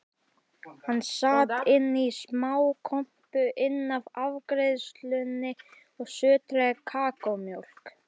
Hann sat inní smákompu innaf afgreiðslunni og sötraði kakómjólk.